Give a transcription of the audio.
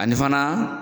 Ani fana